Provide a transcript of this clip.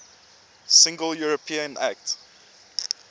single european act